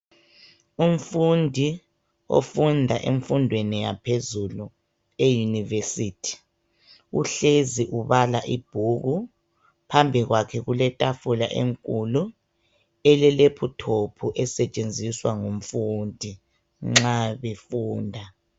Umfundi ofunda emfundweni yaphezulu e University uhlezi ubala ibhuku phambi kwakhe kuletafula enkulu ele lephuthophu esetshenziswa ngumfundi nxa befunda.